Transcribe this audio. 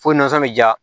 Fo nasɔn bɛ ja